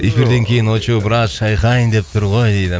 эфирден кейін очоу брат шайқайын деп тұр ғой дейді